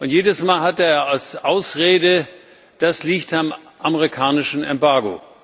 Jedes Mal hatte er als Ausrede Das liegt am amerikanischen Embargo.